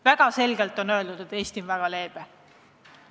Väga selgelt on öeldud, Eesti on väga leebe.